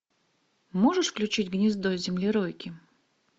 можешь включить гнездо землеройки